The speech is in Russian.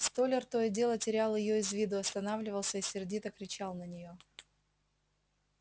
столяр то и дело терял её из виду останавливался и сердито кричал на неё